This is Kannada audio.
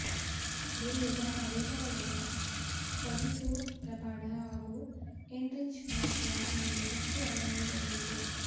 ಡೆಲ್ಲಿ ತನ್ನ ವೇಗಿಗಳಾದ ಕಗಿಸೋ ರಬಾಡ ಹಾಗೂ ಏನ್ರಿಚ್ ನೋಕಿಯ ಮೇಲೆ ಹೆಚ್ಚು ಅವಲಂಬಿತಗೊಂಡಿದೆ